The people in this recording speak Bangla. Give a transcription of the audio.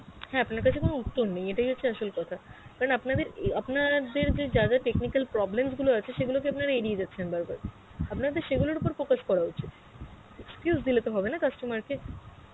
হ্যাঁ আপনার কাছে কোনো উত্তর নেই এটাই হচ্ছে আসল কথা, না আপনাদের আপনা দের যা যা technical problems গুলো আছে সেগুলোকে আপনারা এড়িয়ে যাচ্ছেন বারবার, আপনাদের সেগুলোর ওপর focus করা উচিত excuse দিলেতো হবে না customer কে